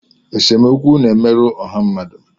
Esemokwu na-emerụ ọha mmadụ